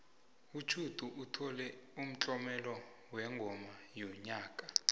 utjhudu uthole umtlomelo wengoma yonyaka